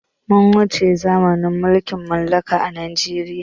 Mun wuce zamanin mulkin mallaka a najeriya